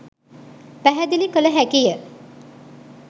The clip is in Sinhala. පැහැදිලි කළ හැකිය.